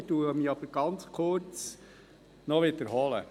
Ich werde mich aber ganz kurz wiederholen.